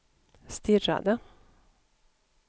stirrade